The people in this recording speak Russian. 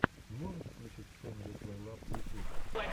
можешь включить фэмили плейлаб в ютьюбе